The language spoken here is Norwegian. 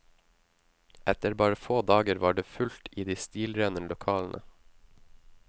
Etter bare få dager var det fullt i de stilrene lokalene.